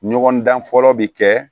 Ɲɔgɔn dan fɔlɔ bɛ kɛ